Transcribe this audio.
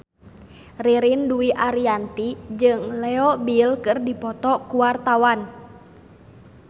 Ririn Dwi Ariyanti jeung Leo Bill keur dipoto ku wartawan